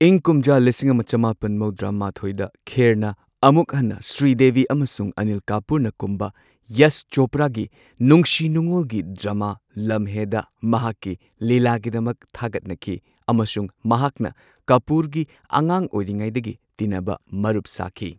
ꯏꯪ ꯀꯨꯝꯖꯥ ꯂꯤꯁꯤꯡ ꯑꯃ ꯆꯃꯥꯄꯟ ꯃꯧꯗ꯭ꯔꯥ ꯃꯥꯊꯣꯏꯗ ꯈꯦꯔꯅ ꯑꯃꯨꯛ ꯍꯟꯅ ꯁ꯭ꯔꯤꯗꯦꯕꯤ ꯑꯃꯁꯨꯡ ꯑꯅꯤꯜ ꯀꯥꯄꯨꯔꯅ ꯀꯨꯝꯕ ꯌꯁ ꯆꯣꯄ꯭ꯔꯥꯒꯤ ꯅꯨꯡꯁꯤ ꯅꯨꯡꯑꯣꯜꯒꯤ ꯗ꯭ꯔꯃꯥ ꯂꯝꯍꯦꯗ ꯃꯍꯥꯛꯀꯤ ꯂꯤꯂꯥꯒꯤꯗꯃꯛ ꯊꯥꯒꯠꯅꯈꯤ ꯑꯃꯁꯨꯡ ꯃꯍꯥꯛꯅ ꯀꯥꯄꯨꯔꯅꯄꯨꯔꯒꯤ ꯑꯉꯥꯡ ꯑꯣꯏꯔꯤꯉꯩꯗꯒꯤ ꯇꯤꯟꯅꯕ ꯃꯔꯨꯞ ꯁꯥꯈꯤ꯫